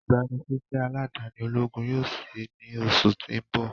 igbanisiṣẹ aladani ologun yoo ṣii ni oṣu ti n bọ.